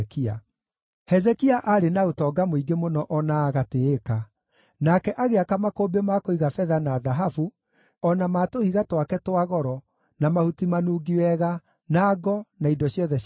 Hezekia aarĩ na ũtonga mũingĩ mũno o na agatĩĩka, nake agĩaka makũmbĩ ma kũiga betha na thahabu, o na ma tũhiga twake twa goro, na mahuti manungi wega, na ngo, na indo ciothe cia bata.